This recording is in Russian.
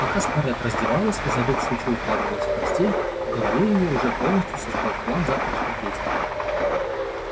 пока скарлетт раздевалась и задув свечу укладывалась в постель в голове её уже полностью созрел план завтрашних действий